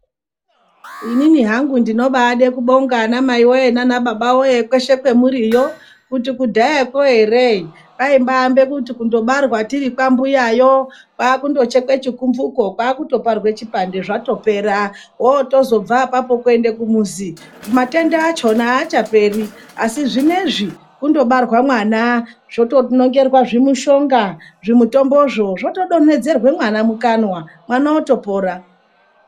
Inini hangu ndinobaede kubonga ana maiwee nanababawe kweshe kwamuriyo kuti kudhayakwo here kwaimbabekuti kundobarwa tiri kwambuyayo kwakundochekwe chikumvuko kwakutoparwe chipande zvatopera wotozobva apapo kuende kumuzi matenda achona aachaperi asi zvineizvi kundobarwa mwana zvotonongerwa zvimushonga zvimutombozvo zvotodonhedzerwa mwana mukanwa mwana otopora.